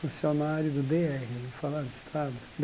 Funcionário do Dê érre, estado?